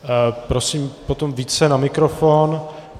Prosím potom více na mikrofon.